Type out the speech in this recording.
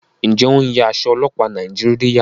njé o ń ya Aṣọ ọlọpa Nàìjíríà?